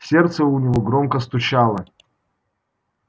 сердце у него громко стучало